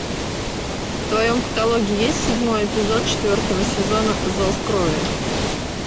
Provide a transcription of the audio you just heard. в твоем каталоге есть седьмой эпизод четвертого сезона зов крови